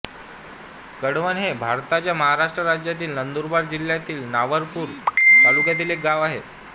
कडवण हे भारताच्या महाराष्ट्र राज्यातील नंदुरबार जिल्ह्यातील नवापूर तालुक्यातील एक गाव आहे